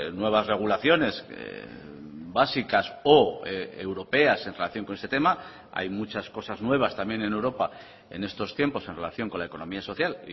nuevas regulaciones básicas o europeas en relación con este tema hay muchas cosas nuevas también en europa en estos tiempos en relación con la economía social